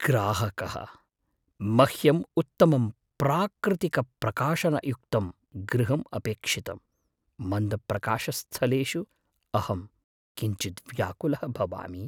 ग्राहकः, मह्यम् उत्तमं प्राकृतिकप्रकाशणयुक्तं गृहम् अपेक्षितम्, मन्दप्रकाशस्थलेषु अहं किञ्चिद् व्याकुलः भवामि।